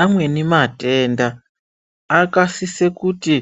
Amweni matenda akasise kuti